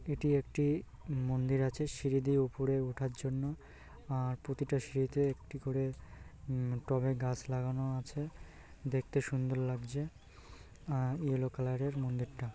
এটি একটি মন্দির আছে সিঁড়ি দিয়ে উপরে ওঠার জন্য আর প্রতিটা সিঁড়িতে একটি করে উম টবে গাছ লাগানো আছে দেখতে সুন্দর লাগছে আর ইয়েলো কালার এর মন্দিরটা।